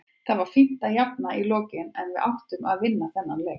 Það var fínt að jafna í lokin en við áttum að vinna þennan leik.